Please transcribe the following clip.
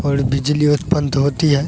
और बिजली उत्पन्न होती है।